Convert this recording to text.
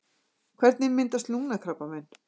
Hvernig myndast lungnakrabbamein?